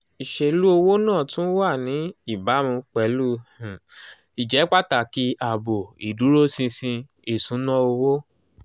ìṣèlú owó náà tún wà ní ìbámu pẹ̀lú um ìjẹ́pàtàkì ààbò ìdúróṣinṣin ìṣúnná owó.